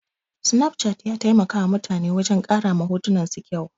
Snapchat ya taimakawa mutane wajen ƙara ma hotunan su kyau.